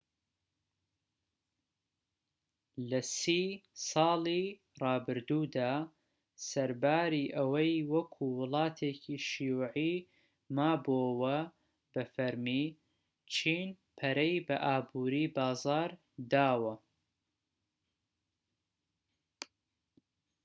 لە سی ساڵی رابردوودا سەرباری ئەوەی وەکو وڵاتێکی شیوعی مابۆوە بە فەرمی چین پەرەی بە ئابوری بازاڕ داوە